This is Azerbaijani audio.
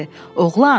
Oğlan!